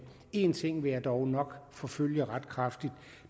en ting vil jeg dog nok forfølge ret kraftigt og